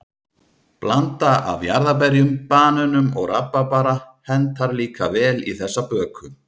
Blanda af jarðarberjum, banönum og rabarbara hentar líka vel í þessa böku.